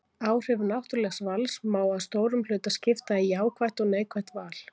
Áhrif náttúrlegs vals má að stórum hluta skipta í jákvætt og neikvætt val.